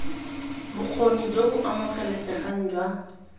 bokgoni jo bo amogelesegang jwa